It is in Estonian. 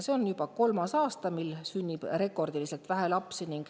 See on juba kolmas aasta, mil sünnib rekordiliselt vähe lapsi.